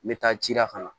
N bɛ taa ci la fana